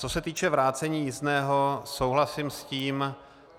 Co se týče vrácení jízdného, souhlasím s tím.